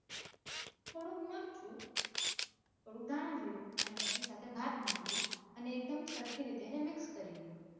થોડુંક મરચું થોડુંક ધાણાજીરું અને પછી સાથે ભાત નાખી દ્યો અને એક ડેમ સરખી રીતે એને mix કરી લ્યો.